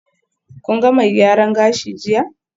Kun ga mai gyaran gashi jiya?